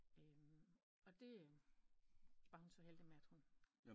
Og det var hun så heldig med at hun